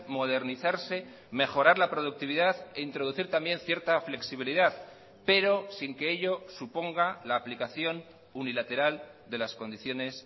modernizarse mejorar la productividad e introducir también cierta flexibilidad pero sin que ello suponga la aplicación unilateral de las condiciones